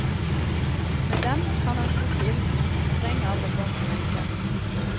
Med dem kan han slukke ilden og sprenge alle bånd og lenker.